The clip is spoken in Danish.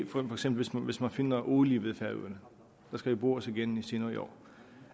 for eksempel finder olie ved færøerne der skal jo bores igen senere i år